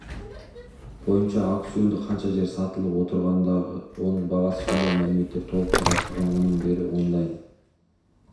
бойынша аукционда қанша жер сатылып отырғандығы оның бағасы сондай мәліметтер толық қарастырылған оның бәрі онлайн